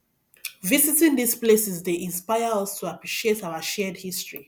visiting these places dey inspire us to appreciate our shared history